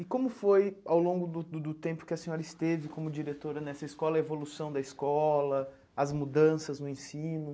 E como foi, ao longo do do do tempo que a senhora esteve como diretora nessa escola, a evolução da escola, as mudanças no ensino?